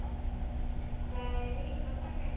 Það er ritað þannig